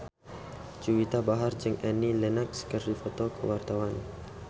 Juwita Bahar jeung Annie Lenox keur dipoto ku wartawan